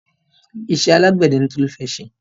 Iṣẹ́ alágbẹ̀dẹ ni Tolu fẹ́ ṣe.